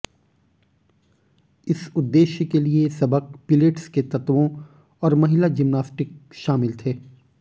इस उद्देश्य के लिए सबक पिलेट्स के तत्वों और महिला जिम्नास्टिक शामिल थे